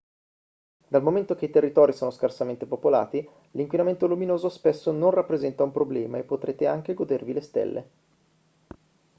dal momento che i territori sono scarsamente popolati l'inquinamento luminoso spesso non rappresenta un problema e potrete anche godervi le stelle